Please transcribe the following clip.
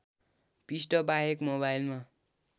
पृष्ठ बाहेक मोबाइलमा